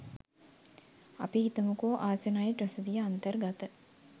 අපි හිතමුකෝ ‍ආසනයිට් රසදිය අන්තර්ගත